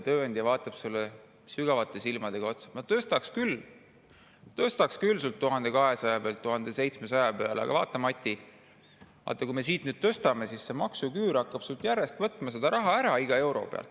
Tööandja vaatab talle sügavalt silma: "Ma tõstaks küll sul 1200 pealt 1700 peale, aga vaata, Mati, kui me siit nüüd tõstame, siis see maksuküür hakkab sul järjest võtma seda raha ära iga euro pealt.